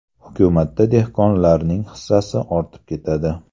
Hukumatda dehqonlarning hissasi ortib ketadi.